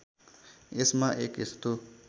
यसमा एक यस्तो